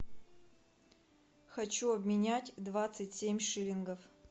хочу обменять двадцать семь шиллингов